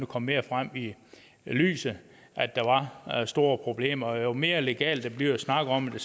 komme mere frem i lyset at der var store problemer og jo mere legalt det bliver at snakke om det